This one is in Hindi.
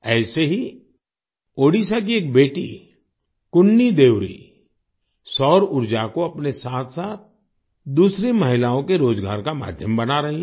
ऐसे ही ओडीशा की एक बेटी कुन्नी देउरी सौर ऊर्जा को अपने साथसाथ दूसरी महिलाओं के रोजगार का माध्यम बना रही हैं